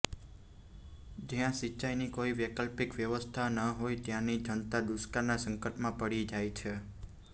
જ્યાં સિંચાઈની કોઈ વૈકલ્પિક વ્યવસ્થા ન હોય ત્યાંની જનતા દુષ્કાળના સંકટમાં પડી જાય છે